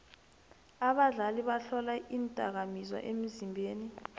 abadlali bahlolwa iindakamizwa emzimbeni